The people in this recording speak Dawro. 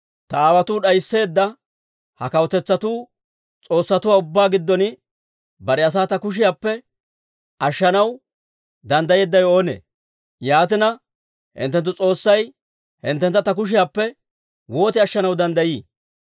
Ta aawotuu d'aysseedda ha kawutetsatuu s'oossatuwaa ubbaa giddon bare asaa ta kushiyaappe ashshanaw danddayeeddawe oonee? Yaatina, hinttenttu S'oossay hinttentta ta kushiyaappe woot ashshanaw danddayii?